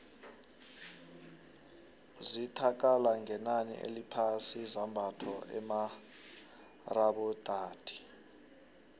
zithda kala ngenani eliphasi izambatho emarabaotadi